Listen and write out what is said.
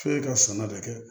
F'e ka sɛnɛ de kɛ